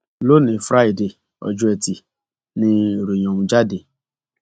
lónìín fraidee ọjọ etí ni ìròyìn ọhún jáde